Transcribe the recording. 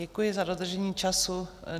Děkuji za dodržení času.